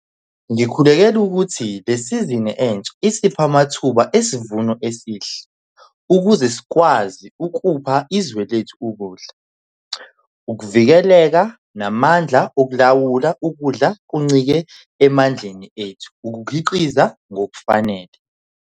Ngikhulekela ukuthi lesizini entsha isiphe amathuba esivuno esihle ukuze sikwazi ukupha izwe lethu ukudla - ukuvikeleka namandla okulawula ukudla kuncike emandleni ethu okukhiqiza ngokufanele.